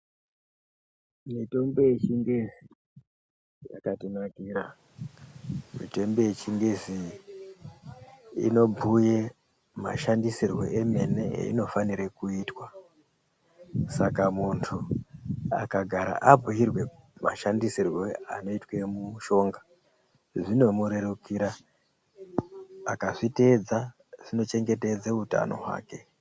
Mitombo yechingezi yakatinakira mitombo yechingezi inobhuye mashandisirwo emene ayinofanirwa kuitwa saka muntu akagara abhuyirwe mashandisirwo anoitwa mushonga zvinomurerukira akazviteedza zvinochengetedze utanho hwake